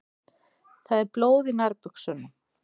Það er blóð í nærbuxunum.